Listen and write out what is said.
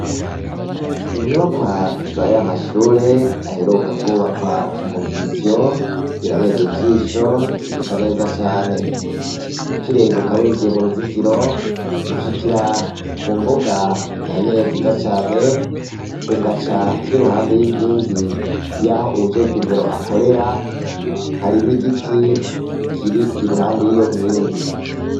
Inyubakwa zayamashure aheruka kubakwa mugisyo zirabereye ijisho zisa neza cane ukirenguka ukicinjira mu cinjiro ushikira kumbuga nyene nziza cane ugaca nirugande yinkigi yaho uwujejwe Indero akorera hari nigiti kiri iruhande yiyo myenge